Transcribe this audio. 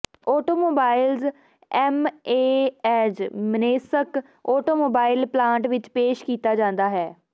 automobiles MAZ Minsk automobile plant ਵਿਚ ਪੇਸ਼ ਕੀਤਾ ਜਾਂਦਾ ਹੈ